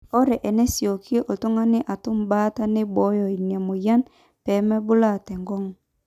ore enesioki oltung'ani atum baata neibooyo ina mweyian pee mebulaa tenkong'u